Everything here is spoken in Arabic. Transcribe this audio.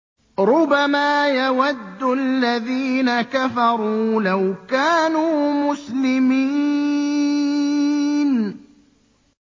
رُّبَمَا يَوَدُّ الَّذِينَ كَفَرُوا لَوْ كَانُوا مُسْلِمِينَ